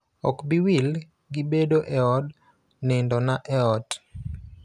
Ok bi wil gi bedo e od nindona e ot,